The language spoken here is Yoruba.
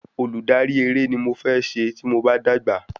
Olùdarí eré ni mo fẹ́ se tí mo bá dàgbà